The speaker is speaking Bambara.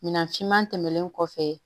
Minan finman tɛmɛnen kɔfɛ